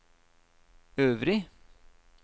øvrig